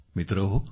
मित्रहो